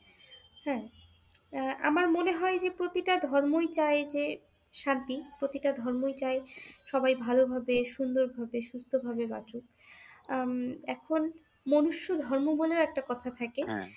হ্যাঁ, আমার মনে হয় যে প্রতিটা ধর্মই চায় যে শান্তি, প্রতিটা ধর্মই চায় সবাই ভালোভাবে সুন্দরভাবে সুস্থ ভাবে বাঁচুক উম এখন মনুষ্য ধর্ম বলেও একটা কথা থাকে